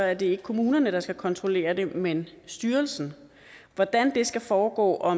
er det ikke kommunerne der skal kontrollere det men styrelsen hvordan det skal foregå og